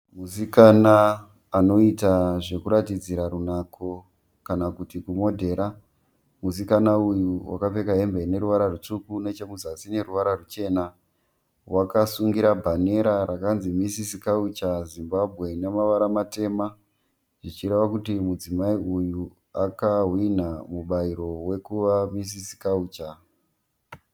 Musikana anoita zvekuratidzira runako , kana kuti kumodhera . Musikana uyu wakapfeka hembe ine ruvara rutsvuku neche kuzasi ine ruvara ruchena . Wakasungira bhanera rakanzi Misisi Culture Zimbabwe ine mavara matema Zvichireva kuti mudzimai uyu aka hwinha mubairo wekuva Misisi Culture .